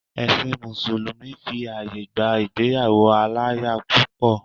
Ẹ̀sìn mùsùlùmí fi àyè gba ìgbéyàwó aláya púpọ̀.